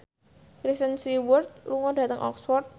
Kristen Stewart lunga dhateng Oxford